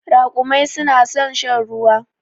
Raƙumai su na san shan ruwa.